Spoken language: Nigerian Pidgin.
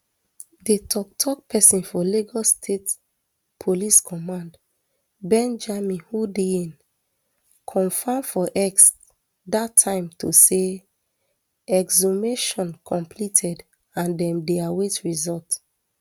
di toktok pesin for lagos state police command benjamin hundeyin confam for x dat time to say exhumation completed and dem dey await result